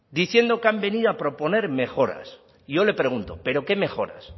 diciendo que han venido a proponer mejoras y yo le pregunto pero qué mejoras